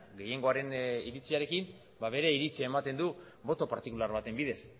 gehiengoaren iritziarekin bere iritzia ematen du boto partikular baten bidez